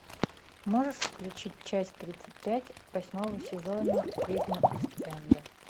можешь включить часть тридцать пять восьмого сезона ведьмы ист энда